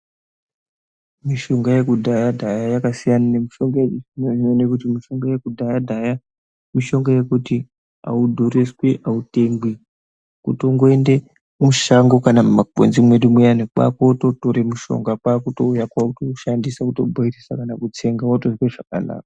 Mishonga yekudhaya dhaya yakasiyana nemishonga yechizvino zvino nekuti mishonga yekudhaya dhaya mishonga yekuti haudhuriswi hautengwi. Kutongoende mushango kana mumakwenzi mwedu muyani, kwakototore mushonga kwakutouya, kwakutoshandisa, kutobhoilisa kana kutsenga wotozwe zvakanaka.